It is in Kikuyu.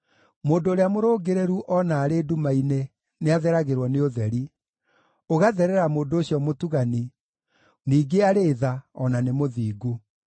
Mũndũ ũrĩa mũrũngĩrĩru o na arĩ nduma-inĩ nĩatheragĩrwo nĩ ũtheri, ũgatherera mũndũ ũcio mũtugani, ningĩ arĩ tha, o na nĩ mũthingu.